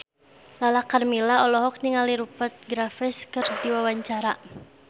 Lala Karmela olohok ningali Rupert Graves keur diwawancara